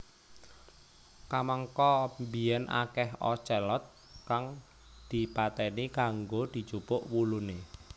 Kamangka biyen akeh ocelot kang dipateni kanggo dijupuk wulune